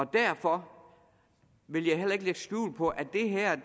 derfor vil jeg heller ikke lægge skjul på at det her